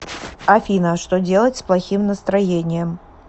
афина что делать с плохим настроением